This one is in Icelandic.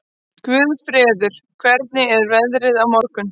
Guðfreður, hvernig er veðrið á morgun?